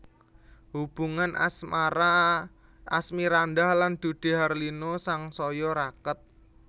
Hubungan asmara Asmirandah lan Dude Harlino sangsaya raket